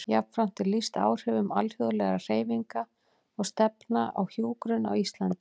Jafnframt er lýst áhrifum alþjóðlegra hreyfinga og stefna á hjúkrun á Íslandi.